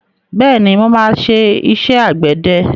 Bẹ́ẹ̀ni, mo máa ṣe iṣẹ́ àgbẹ̀dẹ.